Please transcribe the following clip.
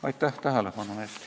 Aitäh tähelepanu eest!